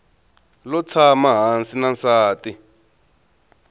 lo tshama hansi na nsati